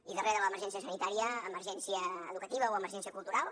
i darrere de l’emergència sanitària emergència educativa o emergència cultural